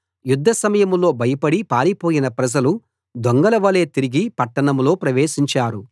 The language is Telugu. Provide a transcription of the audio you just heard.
యుద్ధ సమయంలో భయపడి పారిపోయిన ప్రజలు దొంగలవలె తిరిగి పట్టణంలో ప్రవేశించారు